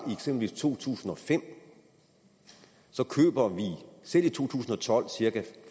i to tusind og fem køber vi selv i to tusind og tolv cirka